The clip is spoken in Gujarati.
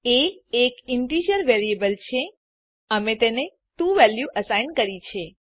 એ એક ઇન્ટેજર વેરીએબલ છે અમે તેને 2 વેલ્યું અસાઇન કરી છે